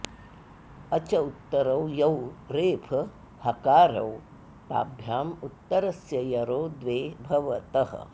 अच उत्तरौ यौ रेफहकारौ ताभ्याम् उत्तरस्य यरो द्वे भवतः